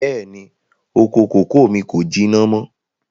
Bẹ́ẹ̀ni, oko kòkó mi kò jìnà mọ́